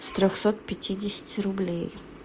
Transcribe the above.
с трёхсот пятидесяти рублей